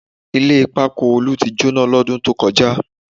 Ilé pákó Olú ti jóná lọ́dún tó kọjá